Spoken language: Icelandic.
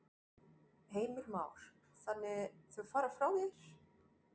Heimir Már: Þannig þau fara frá þér?